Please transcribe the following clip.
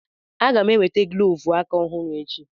Aga m e nweta glọvu aka ọhụrụ echi.